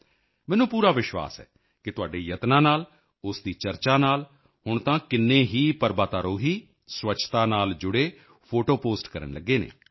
ਮੈਨੂੰ ਪੂਰਾ ਵਿਸ਼ਵਾਸ ਹੈ ਕਿ ਤੁਹਾਡੇ ਇਨ੍ਹਾਂ ਯਤਨਾਂ ਨਾਲ ਉਸ ਦੀ ਚਰਚਾ ਨਾਲ ਹੁਣ ਤਾਂ ਕਿੰਨੇ ਹੀ ਪਰਬਤਾਰੋਹੀ ਸਵੱਛਤਾ ਨਾਲ ਜੁੜੇ ਫੋਟੋ ਪੋਸਟ ਫੋਟੋ ਪੋਸਟ ਕਰਨ ਲੱਗੇ ਹਨ